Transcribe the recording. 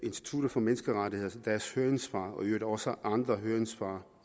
institut for menneskerettigheders høringssvar og i øvrigt også andre høringssvar